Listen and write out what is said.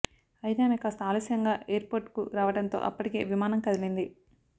అయితే ఆమె కాస్త ఆలస్యంగా ఎయిర్పోర్ట్కు రావడంతో అప్పటికే విమానం కదిలింది